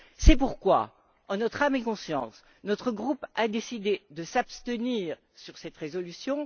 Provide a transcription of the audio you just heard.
C'est pourquoi, en notre âme et conscience, notre groupe a décidé de s'abstenir sur cette résolution.